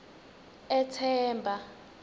ethemba